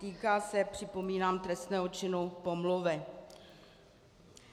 Týká se, připomínám, trestného činu pomluvy.